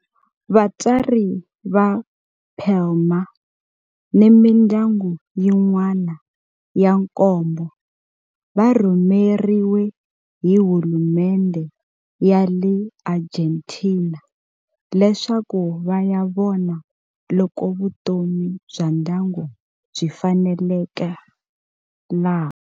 Vatswari va Palma ni mindyangu yin'wana ya nkombo va rhumeriwe hi hulumendhe ya le Argentina leswaku va ya vona loko vutomi bya ndyangu byi faneleka laha.